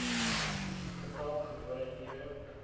getal gewone ure